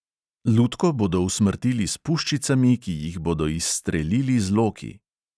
Lutko bodo usmrtili s puščicami, ki jih bodo izstrelili z loki.